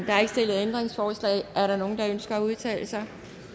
er ikke stillet ændringsforslag er der nogen der ønsker at udtale sig